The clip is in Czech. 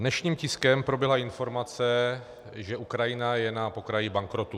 Dnešním tiskem proběhla informace, že Ukrajina je na pokraji bankrotu.